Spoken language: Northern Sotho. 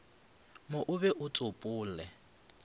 mo o be o tsopole